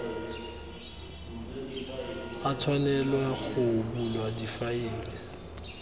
a tshwanelwa go bulwa difaele